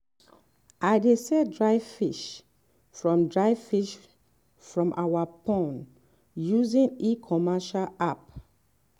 i dey sell dry fish from dry fish from our pond using e‑commerce app.